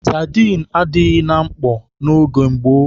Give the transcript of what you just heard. Sadịn adịghị na mkpọ n'oge gboo.